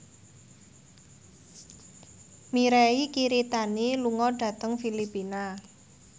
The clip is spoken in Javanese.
Mirei Kiritani lunga dhateng Filipina